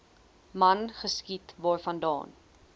man geskiet waarvandaan